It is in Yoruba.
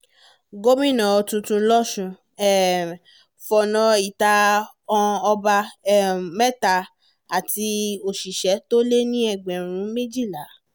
gomina tuntun losùn um fọ̀nà ìta han ọba um mẹ́ta àti àwọn òṣìṣẹ́ tó lé ní ẹgbẹ̀rún méjìlá